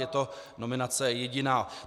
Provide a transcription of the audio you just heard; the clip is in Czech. Je to nominace jediná.